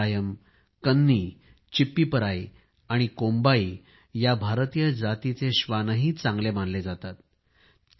राजापलायम कन्नी चिप्पीपराई आणि कोम्बाई या भारतीय जातीचे श्वानही चांगले आहेत